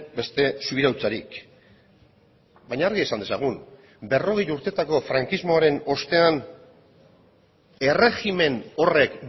beste subirautzarik baina argi esan dezagun berrogei urtetako frankismoaren ostean erregimen horrek